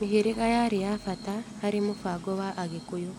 Mĩhĩrĩga yarĩ ya bata harĩ mũbango wa Agikũyũ